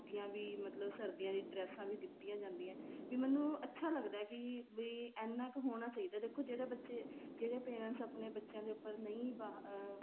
ਵੀ ਮਤਲਬ ਸਰਦੀਆਂ ਦੀਆ ਡ੍ਰੇਸਾਂ ਵੀ ਦਿੱਤੀਆਂ ਜਾਂਦੀਆਂ ਏ ਵੀ ਮੈਨੂੰ ਅੱਛਾ ਲੱਗਦਾ ਹੈ ਕੀ ਵੀ ਐਨਾ ਕ਼ ਹੋਣਾ ਚਾਹੀਦਾ ਦੇਖੋ ਜਿਹੜੇ ਬੱਚੇ ਜਿਹੜੇ parents ਆਪਣੇਂ ਬੱਚਿਆ ਦੇ ਉੱਪਰ ਨਹੀਂ ਅਹ